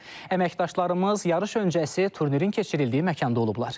Əməkdaşlarımız yarış öncəsi turnirin keçirildiyi məkanda olublar.